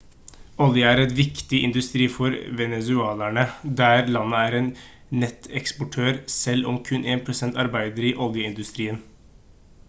olje er en viktig industri for venezuelanere der landet er en nettoeksportør selv om kun 1 % arbeider i oljeindustrien